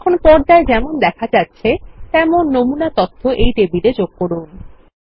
এখন পর্দায় যেমন দেখা যাচ্ছে তেমন নমূনা তথ্য এই টেবিলে যোগ করুন